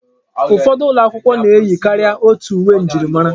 Ụfọdụ ụlọ akwụkwọ na-eyi karịa otu uwe njirimara.